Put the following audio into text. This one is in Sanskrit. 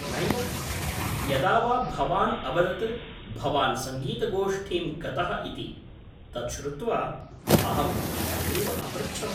नैव, यदा वा भवान् अवदत् भवान् सङ्गीतगोष्ठीम् गतः इति, तत् श्रुत्वा अहम् एवमेव अपृच्छम्।